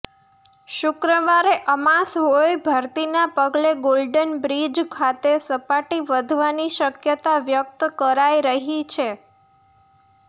શુક્રવારે અમાસ હોય ભરતીના પગલે ગોલ્ડન બ્રિજ ખાતે સપાટી વધવાની શકયતા વ્યકત કરાઈ રહી છે